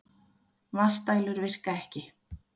Vatnsdælur virka ekki